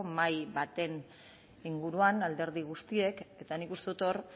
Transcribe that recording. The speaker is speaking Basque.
mahai baten inguruan alderdi guztiek eta nik uste dut hor